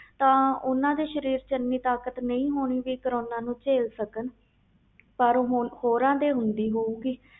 ਤਾ ਓਹਨੇ ਦੇ ਸਰੀਰ ਵਿਚ ਤਾਕਤ ਨਹੀਂ ਹੋਣੀ ਕਿ ਕਰੋਨਾ ਨੂੰ ਝੇਲ ਸਕਣ ਪਰ ਹੁਣ ਹੋਰ ਦੀ ਹੁੰਦੀ ਹਊ ਗਈ